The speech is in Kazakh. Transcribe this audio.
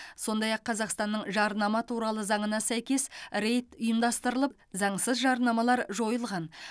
сондай ақ қазақстанның жарнама туралы заңына сәйкес рейд ұйымдастырылып заңсыз жарнамалар жойылған